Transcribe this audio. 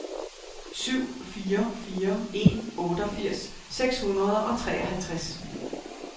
syv fire fire en otteogfirs seks hundrede og treoghalvtreds